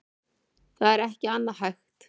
Það er ekki annað hægt